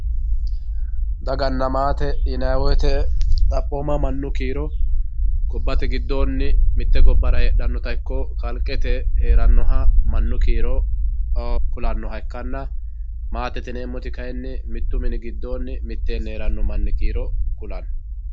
Daganna maate yinani woyite xaphooma manu kiiro gobate gidooni mite gobara heedhanota ikko kaliqete heeranoha manu kiiro kulanohha ikkanna, maattette yineemoti kayini mitu mini gidonni mitteeni heeranno mani kiiro kulano